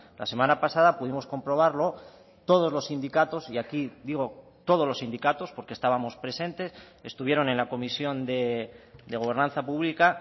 la semana pasada pudimos comprobarlo todos los sindicatos y aquí digo todos los sindicatos porque estábamos presentes estuvieron en la comisión de gobernanza pública